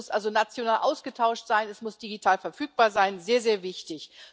Das muss also national ausgetauscht sein, es muss digital verfügbar sein sehr, sehr wichtig.